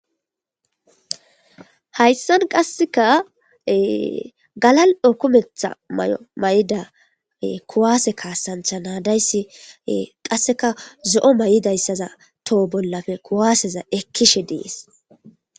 Hayssan qasseka galal okumetha may'o may'idape kuwaase kaasantha naadayssi qasseka zo'o may'idayssaza toho bollafe kuwaaseza ekkishe dees.